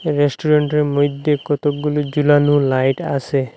রেস্টুরেন্টের মইধ্যে কতগুলি জোলানো লাইট আসে।